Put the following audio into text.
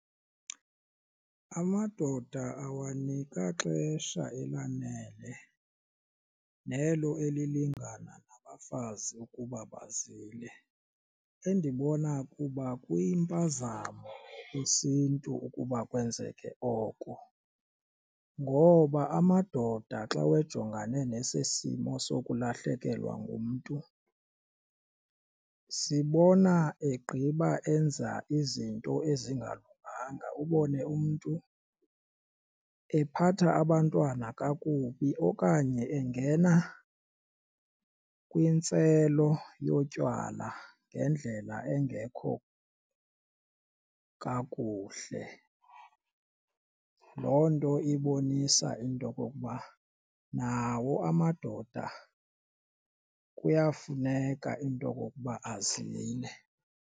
Amadoda awanikwa xesha elanele nelo elilingana nabafazi ukuba bazile, endibona kuba kwuyimpazamo kwisiNtu ukuba kwenzeke oko. Ngoba amadoda xa wejongane nesi simo sokulahlekelwa ngumntu sibona egqiba enza izinto ezingalunganga ubone umntu ephatha abantwana kakubi okanye engena kwintselo yotywala ngendlela engekho kakuhle. Loo nto ibonisa into okokuba nawo amadoda kuyafuneka into okokuba azile.